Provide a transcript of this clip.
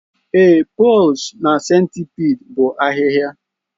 Ee, pores nke centipede bụ ahịhịa